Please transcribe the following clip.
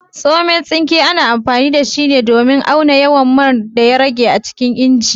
Tsomen tsinke, ana amfani da shi ne domin auna yawan man daya rage a cikin inji